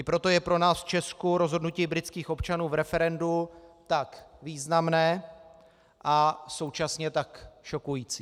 I proto je pro nás v Česku rozhodnutí britských občanů v referendu tak významné a současně tak šokující.